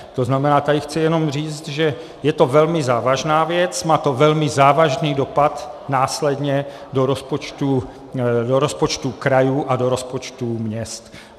To znamená, tady chci jenom říct, že je to velmi závažná věc, má to velmi závažný dopad následně do rozpočtů krajů a do rozpočtů měst.